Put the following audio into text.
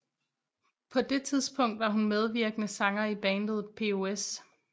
På det tidspunkt var hun medvirkende sanger i bandet POS